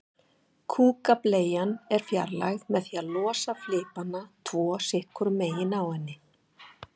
Kúkableian er fjarlægð með því að losa flipana tvo sitt hvoru megin á henni.